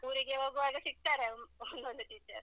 ಊರಿಗೆ ಹೋಗುವಾಗ ಸಿಗ್ತಾರೆ ಅವರು ಒಂದೊಂದು teacher .